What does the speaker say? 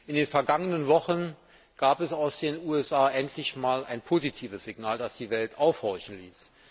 In den vergangenen Wochen gab es aus den USA endlich einmal ein positives Signal, das die Welt aufhorchen ließ.